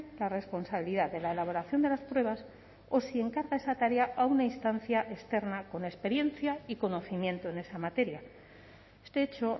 la responsabilidad de la elaboración de las pruebas o si encaja esa tarea a una instancia externa con experiencia y conocimiento en esa materia este hecho